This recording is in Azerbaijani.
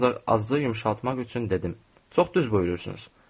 Ancaq azcığı yumşaltmaq üçün dedim: Çox düz buyurursunuz.